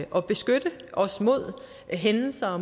at beskytte os mod hændelser og